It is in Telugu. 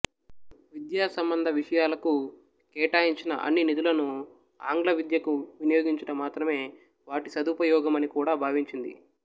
విద్యా సంబంధ విషయాలకు కేటాయించిన అన్ని నిధులను ఆంగ్ల విద్యకు వినియోగించుట మాత్రమే వాటి సదుపయోగమని కూడా భావించింది